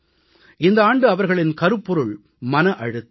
இந்த ஆண்டு அவர்களின் கருப்பொருள் மன அழுத்தம்